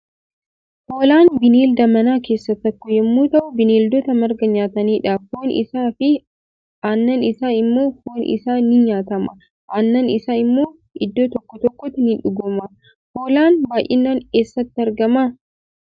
Hoolaan bineelda manaa kessa tokko yommu ta'uu bineeldota marga nyaatanidha. foon isaa fi annan isa immoo foon isaa ni nyaatama annan isaa immoo iddoo tokko tokkotti ni dhugama. Hoolaan baay'inaan eessatti argama?